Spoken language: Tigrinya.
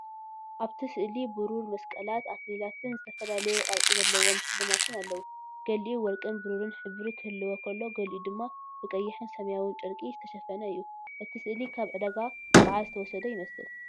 ኣብቲ ስእሊ ብሩር መስቀላት፣ ኣኽሊላትን ዝተፈላለየ ቅርጺ ዘለዎም ሽልማትን ኣለዉ። ገሊኡ ወርቅን ብሩርን ሕብሪ ክህልዎ ከሎ፡ ገሊኡ ድማ ብቐይሕን ሰማያውን ጨርቂ ዝተሸፈነ እዩ። እቲ ስእሊ ካብ ዕዳጋ በዓል ዝተወስደ ይመስል።